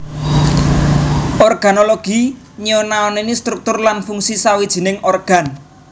Organologi nyinaoni struktur lan fungsi sawijining organ